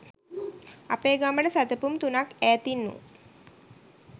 අපේ ගමට සැතපුම් තුනක් ඈතින් වූ